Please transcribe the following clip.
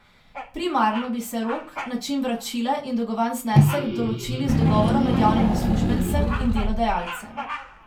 Primarno bi se rok, način vračila in dolgovan znesek določili z dogovorom med javnim uslužbencem in delodajalcem.